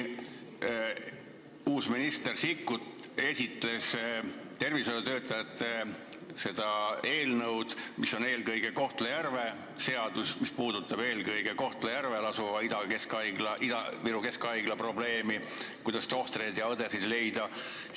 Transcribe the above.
Uus minister Sikkut esitles tervishoiutöötajatele mõeldud eelnõu, mis puudutab eelkõige Kohtla-Järvel asuva Ida-Viru Keskhaigla probleemi, kuidas tohtreid ja õdesid leida.